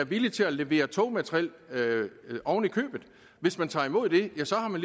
villige til at levere togmateriel hvis man tager imod det ja så har man